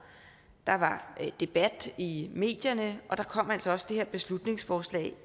der var debat i medierne og der kom altså også det her beslutningsforslag